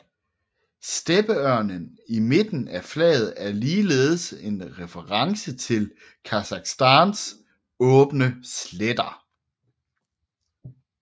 Steppeørnen i midten af flaget er ligeledes en reference til Kasakhstans åbne sletter